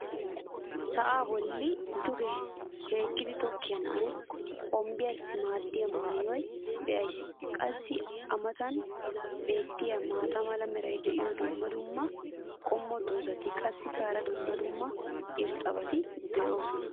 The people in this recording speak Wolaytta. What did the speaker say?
sa'aa bolli duge hiikkidi tokkiya na'ay hombbiyaassi maayido maayuwa be'ays. qassi a matan beetiya maata mala meray diyo dumma dumma qommo dozzati qassikka hara dumma dumma irxxabati doosona.